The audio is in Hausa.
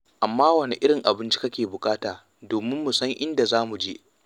Amma wane irin abinci kake buƙata domin mu san inda za mu je.